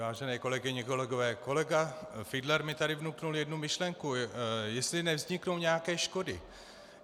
Vážené kolegyně, kolegové, kolega Fiedler mi tady vnukl jednu myšlenku, jestli nevzniknou nějaké škody.